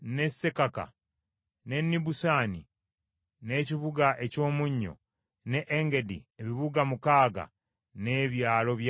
n’e Nibusani, n’ekibuga eky’omunnyo, n’e Engedi, ebibuga mukaaga n’ebyalo byabyo.